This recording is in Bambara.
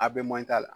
A bɛ man t'a la